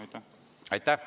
Aitäh!